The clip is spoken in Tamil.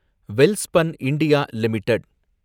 Welspun India limited